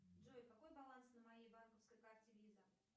джой какой баланс на моей банковской карте виза